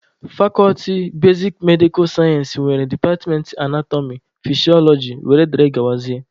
Fakọlti basik medikal sayensị nwere departmentị anatọmị, fisiọlọji wdg.